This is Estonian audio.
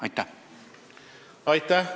Aitäh!